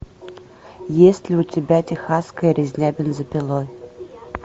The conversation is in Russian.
есть ли у тебя техасская резня бензопилой